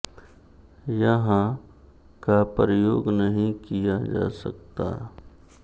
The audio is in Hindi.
यहाँ ं का प्रयोग नहीं किया जा सकता